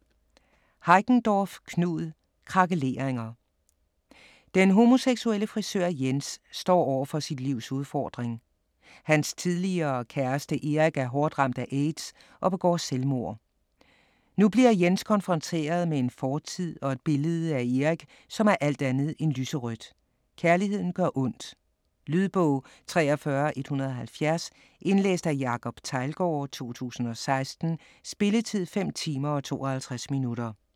Heickendorff, Knud: Krakeleringer Den homoseksuelle frisør Jens står over for sit livs udfordring: Hans tidligere kæreste Erik er hårdt ramt af AIDS og begår selvmord. Nu bliver Jens konfronteret med en fortid, og et billede af Erik, som er alt andet end lyserødt. Kærligheden gør ondt. Lydbog 43170 Indlæst af Jacob Teglgaard, 2016. Spilletid: 5 timer, 52 minutter.